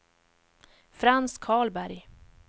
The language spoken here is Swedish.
Frans Karlberg